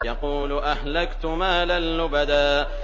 يَقُولُ أَهْلَكْتُ مَالًا لُّبَدًا